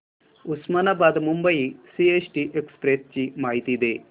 Osmanabad Mumbai CST express ची माहिती दे